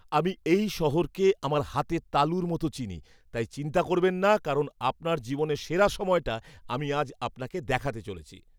আমি এই শহরকে আমার হাতের তালুর মতো চিনি, তাই চিন্তা করবেন না কারণ আপনার জীবনের সেরা সময়টা আমি আজ আপনাকে দেখাতে চলেছি।